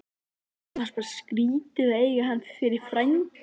Mér fannst bara skrítið að eiga hann fyrir frænda.